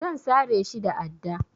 Zan sare shi da adda.